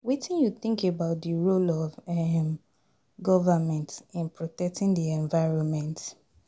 Wetin you think about di role of um govrnment in protecting di environment?